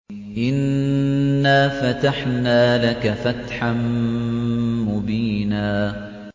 إِنَّا فَتَحْنَا لَكَ فَتْحًا مُّبِينًا